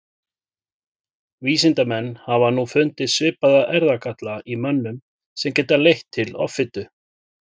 vísindamenn hafa nú fundið svipaða erfðagalla í mönnum sem geta leitt til offitu